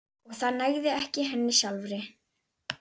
Og það nægði ekki henni sjálfri.